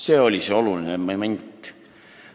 " See oli see oluline moment.